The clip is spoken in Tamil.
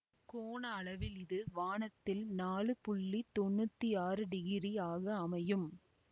கோண அளவில் இது வானத்தில் நாலு புள்ளி தொன்னூத்தி ஆறு டிகிரி ஆக அமையும்